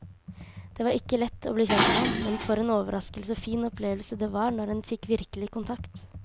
Det var ikke lett å bli kjent med ham, men for en overraskende og fin opplevelse det var når en fikk virkelig kontakt.